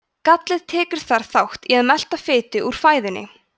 gallið tekur þar þátt í að melta fitu úr fæðunni